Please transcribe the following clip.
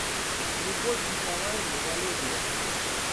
любовь николаевна волегова